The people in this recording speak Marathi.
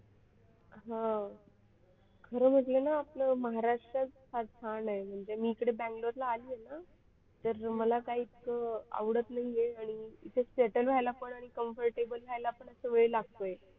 हो खरं म्हटलं ना आपलं महाराष्ट्र फार छान आहे म्हणजे मी इकडे बेंगलोरला आली आहे ना तर मला काही इच्छा आवडत नाही आहे आणि इथे settle व्हायला पण आणि comfortabl व्हायला पण वेळ लागतोय.